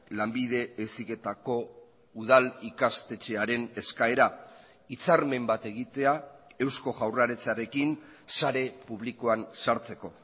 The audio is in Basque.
lanbide heziketako udal ikastetxearen eskaera hitzarmen bat egitea eusko jaurlaritzarekin sare publikoan sartzeko